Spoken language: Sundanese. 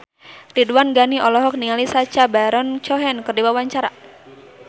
Ridwan Ghani olohok ningali Sacha Baron Cohen keur diwawancara